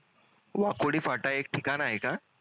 वाकोडी फाटा एक ठिकाण आहे का